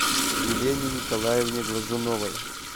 елене николаевне глазуновой